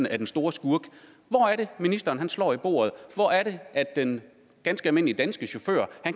er den store skurk hvor er det ministeren slår i bordet hvor er det den ganske almindelige danske chauffør